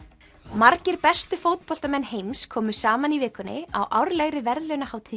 margir bestu fótboltamenn heims komu saman í vikunni á árlegri verðlaunahátíð